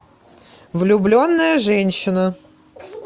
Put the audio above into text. влюбленная женщина